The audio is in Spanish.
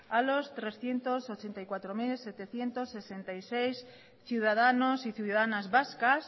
a los trescientos ochenta y cuatro mil setecientos sesenta y seis ciudadanos y ciudadanas vascas